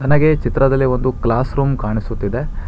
ನನಗೆ ಚಿತ್ರದಲ್ಲಿ ಒಂದು ಕ್ಲಾಸರೂಮ್ ಕಾಣಿಸುತಿದೆ.